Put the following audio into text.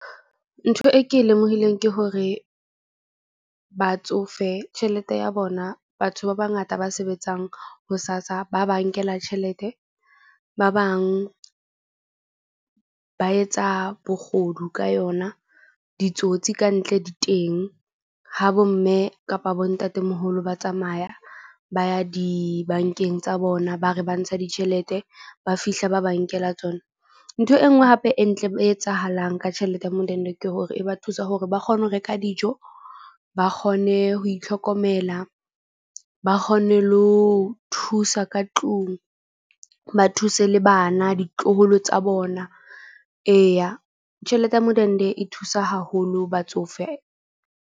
Ntho e ke e lemohileng ke hore batsofe tjhelete ya bona, batho ba bangata ba sebetsang ho SASSA ba ba nkela tjhelete. Ba bang ba etsa bogodu ka yona. Ditsotsi kantle di teng ha bo mme kapa bo ntatemoholo, ba tsamaya ba ya di-bank-eng tsa bona. Ba re ba ntsha ditjhelete, ba fihla ba ba nkela tsona. Ntho e nngwe hape e ntle e etsahalang ka tjhelete ya modende ke hore e ba thusa hore ba kgone ho reka dijo, ba kgone ho itlhokomela, ba kgone le ho o thusa ka tlung ba thuse le bana ditloholo tsa bona. Eya tjhelete ya modende e thusa haholo batsofe.